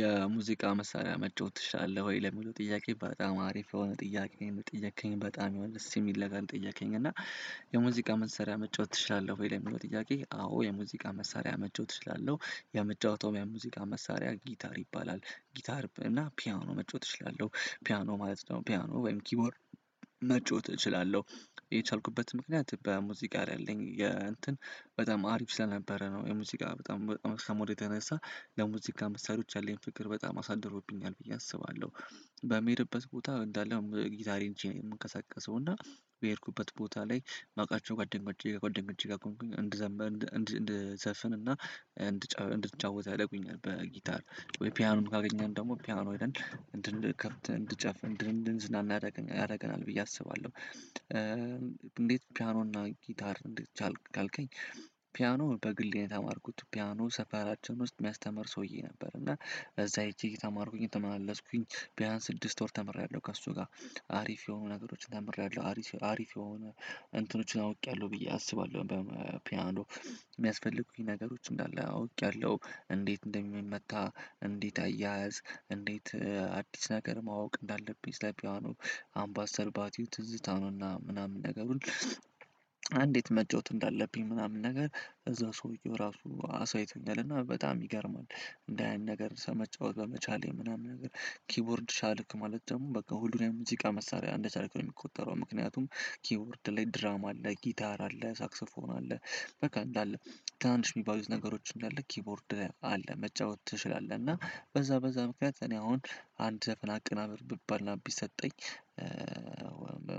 የሙዚቃ መሳሪያ መጫወት ትችላለህ? ወይ ለሚለው ጥያቄ በጣም አሪፍ የሆነ ጥያቄ ነው ጠየከኝ በጣም ይሆን ደስ የሚል ነገር ጠየከኝ እና የሙዚቃ መሳሪያ መጫወት ትችላለህ? ወይ የሚለው ጥያቄ አዎ የሙዚቃ መሳሪያ መጨወት እችላለው። የመጨወተው የሙዚቃ መሳሪያ ጊታር ይባላል። ጊታር እና ፒያኖ መጫወት እችላለው ፒያኖ ማለት ነው ፒያኖ ወይም ኪቦርድ መጫወት እችላለው የቻልኩበት ምክንያት በሙዚቃ ላይ የእንትን በጣም አሪፍ ስለነበረ ነው። የሙዚቃ በጣም በጣም ከመዉደዴ የተነሳ ለሙዚቃ ምሳሪዎች ያለኝን ፍቅር በጣም አሳድሮብኛል ብዬ አስባለው በምሄድበት ቦታ እንዳለም ጊታሬን ይጄ የምንቀሳቀሰው እና በሄድኩበት ቦታ ላይ ማቃቸው ጓደኛዬ ጓደኞቼ ጋር ቆምኩኝ እንድዘፍን እንድጫወት ያረጉኛል በጊታር ወይ ፒያኖን ካገኘን ደግሞ ፒያኖ ይለን እንድን ከፍት እንድን ጫፍ እንድ አንድዝና ያረገናለን ብዬ አስባለው። እንዴት ፒያኖ እና ጊታር እንደቻልክ አልከኝ ፒያኖ በግል ነው የተማርኩት ፒያኖ ሰፈራችን ውስጥ የሚያስተምር ሰውዬ ነበረ። እና እዛ ሄጄ እየተማርኩኝ ተመላለስኩኝ ቢያንስ ስድስት ወር ተምሬያለው ከእሱ ጋር አሪፍ የሆኑ ነገሮችን ተምሬያለው አሪፍ አሪፍ የሆነ እንትኖቹን አውቄያለው ብዬ አስባለው በፒያኖ የሚያስፈልጉኝ ነገሮች እንዳለ አውቄያለው እንዴት እንደሚመታ እንዴት አያያዝ እንዴት አዲስ ነገር ማወቅ እንዳለብኝ ስለ ፒያኖ አምባሰል ባቲው ትዝታ ነውና ምናምን ነገሩን አንዴት መጫወት እንዳለብኝ ምናምን ነገር እዛ ሰውዬው ራሱ አሳይቶኛል እና በጣም ይገርማል እንደ ያን ነገር ሰመጫወት በመቻሌ ምናምን ነገር ኪቦርድ ሻልክ ማለት ደግሞ በቃ ሁሉንም ሙዚቃ መሳሪያ እንደ ቻልክ ነው የምቆጠረው። ምክንያቱም ኪቦርድ ላይ ድራም አለ ጊታር አለ ሳክስ ፎን አለ በቃ እንዳለ ትናንሽ የሚባሉት ነገሮች እንዳለ ኪቦርድ አለ መጫወት ትችላለህእና። በዛ በዛ ምክንያት እኔ አሁን አንድ ዘፍን አቀናብር ብባልና ቢሰጠኝ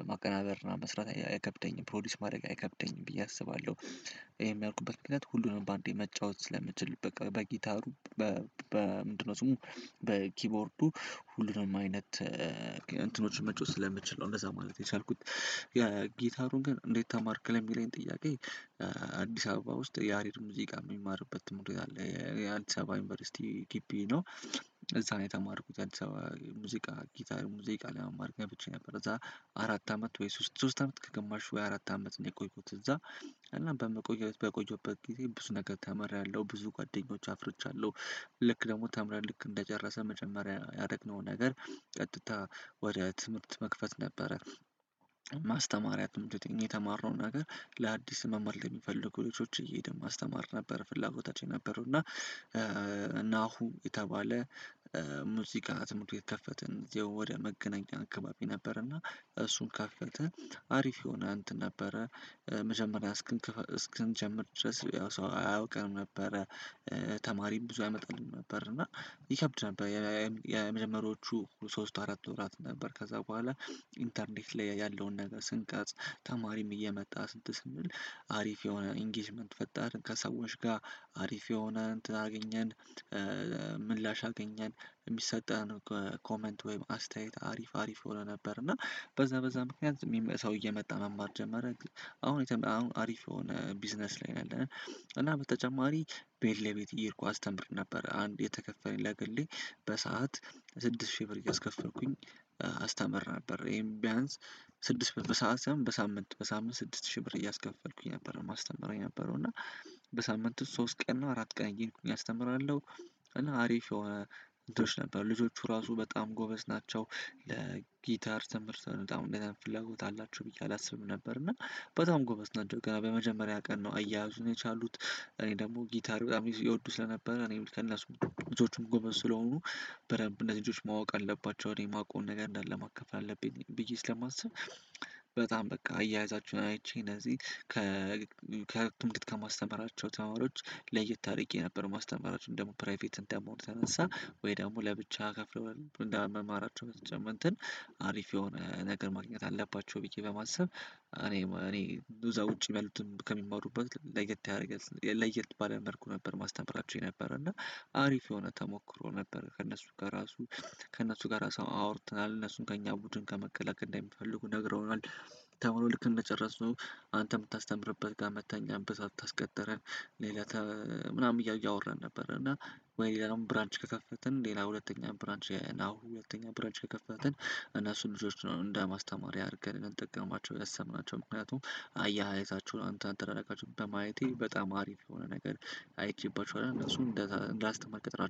ማቀናበርና መስራት አይከብደኝም ፕሮዲዩስ ማድረግ አይከብደኝም ብዬ አስባለው። ይሄ ያልኩበት ምክንያት ሁሉንም በአንዴ መጫወት ስለምትችል በቃ በጊታሩ በ በ ምንድነው ስሙ በኪቦርዱ ሁሉንም አይነት እንትኖችን መጮህ ስለምችል ነው እንደዛ ማለት የቻልኩት። የ ጊታሩን ግን እንዴት ተማርክ ለሚለኝ ጥያቄ አዲስ አበባ ውስጥ ያሬድ ሙዚቃ የሚማርበት ትምህርት ቤት አለ የአዲሳባ ዩኒቨርሲቲ ግቢ ነው እዛ ነው የተማርኩት አድሳባ ሙዚቃ ጊታር ሙዚቃ ለመማር ገብቼ ነበር እዛ አራት አመት ወይ ሶስት ሶስት አመት ከግማሽ ወይ አራት አመት ነው የቆየሁት እዛ እና በመቆየት በቆየሁበት ጊዜ ብዙ ነገር ተመራያለው ብዙ ጓደኞች አፍርቼያለው። ልክ ደግሞ ተምረን ልክ እንደጨረሰን መጀመሪያ ያደረግነው ነገር ቀጥታ ወደ ትምህርት መክፈት ነበረ። ማስተማሪያ ትምህርት የተማርነውን ነገር ለአዲስ መማር ለሚፈልጉ ልጆች እየሄደን ማስተማር ነበር ፍላጎታቸው የነበረው እና ናሁ የተባለ ሙዚቃ ትምህርት ቤት ከፈትን ወደ መገናኛ አካባቢ ነበረና እሱን ከፈተን አሪፍ የሆነ አንትን ነበረ መጀመሪያ እስክንጀምር ድረስ ያው ሰው አያውቀንም ነበረ። ተማሪም ብዙ አይመጣልኝም ነበር እና ይከብድ ነበር የመጀመሪያዎቹ ሶስት አራት ወራት ነበር ከዛ ቦኋላ ኢንተርኔት ላይ ያለውን ነገር ስንቀርጽ ተማሪም እየመጣ ስንት ስም አሪፍ የሆነ ኢንጌጅመንት ፈጣር ከሰዎች ጋር አሪፍ የሆነ አንትን አገኘን ምላሽ አገኘን የሚሰጠን ኮመንት ወይም አስተያየት አሪፍ አሪፍ ሆኖ ነበር እና በዛ በዛ ምክንያት የሚመጣ ሰው እየመጣ መማር ጀመረ ግን አሁን አሁን አሪፍ የሆነ ቢዝነስ ላይ ነው ያለነው። እና በተጨማሪ ቤት ለቤት እየሄድኩ አስተምር ነበረ አንድ የተከፈለኝ ለግሌ በሰአት ስድስት ሺህ ብር እያስከፈልኩኝ አስተምር ነበር ይሄም ቢያንስ ስድስት በሰአት ያም በሳምንት በሳምንት ስድስት ሺህ ብር እያስከፈልኩኝ ነበር ማስተምረው የነበረው እና በሳምንቱ ሶስት ቀን እና አራት ቀን እየሄድኩኝ አስተምራለው። እና አሪፍ የሆነ ልጆች ነበሩ ልጆቹ ራሱ በጣም ጎበዝ ናቸው። ለጊታር ተምርተን በጣም እንደዚህ አይነት ፍላጎት አላቸው ብዬ አላስብም ነበር እና በጣም ጎበዝ ነው እንጂ በመጀመሪያ ቀን ነው አያያዙን የቻሉት እኔ ደግሞ ጊታሪ በጣም የወዱ ስለነበረ እኔም ከነሱ ልጆቹም ጎበዝ ስለሆኑ በደንብ እነዚህ ልጆችች ማወቅ አለባቸው እኔ የማውቀውን ነገር እንዳለ ማከፍል አለብኝ ብዬ ስለማስብ በጣም በቃ አያያዛችሁን አይቼ እነዚህ ከ ከህክ ከማስተማራቸው ተማሪዎች ለየት ታሪክ የነበረው ማስተማራችን ደግሞ ፕራይቬት እንደመሆኑ ተነሳ ወይ ደግሞ ለብቻ ከፍለው እንደመማራቸው አንትን አሪፍ የሆነ ነገር ማግኘት አለባቸው ብዬ በማሰብ እኔ እኔ እዛ ውጪ ባሉትን ከሚማሩበት ለየት ያደረገ ለየት ባለ መልኩ ነበር ማስተምራቸው የነበረ እና አሪፍ የሆነ ተሞክሮ ነበር ከእነሱ ጋር ራሱ ከእነሱ ጋር ራሱ አወርተናል እነሱን ከእኛ ቡድን ከመከላከል እንዳይፈልጉ ነግረውናል። ተሞሎ ልክ እንደጨረስነው አንተ የምታስተምርበት ጋ መተኛበት በዛ ታስቀጠረ ሌላ ተ ምናምን እያየው አወራን ነበረ እና ወይ ሌላውን ብራንች ከከፈትን ሌላ ሁለተኛ ብራንች የናሁ ሁለተኛ ብራንች ከከፈትን እነሱን ልጆች ነው እንደ ማስተማሪያ አርገን ጠቀማቸው ያሰብናቸው ምክንያቱም አያያዛችሁ አንተ አንተ ላደርጋችሁ በማየቴ በጣም አሪፍ የሆነ ነገር አይቼባችኋለው እነሱን እንዳስተማር ቀጥራለው